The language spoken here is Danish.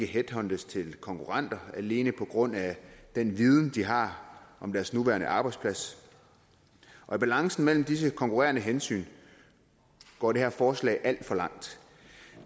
headhuntes til konkurrenter alene på grund af den viden de har om deres nuværende arbejdsplads og i balancen mellem disse konkurrerende hensyn går det her forslag alt for langt